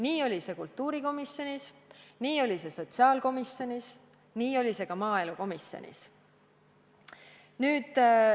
Nii oli see kultuurikomisjonis, nii oli see sotsiaalkomisjonis, nii oli see ka maaelukomisjonis.